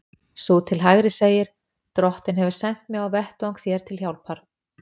Sú til hægri segir: Drottinn hefur sent mig á vettvang þér til hjálpar.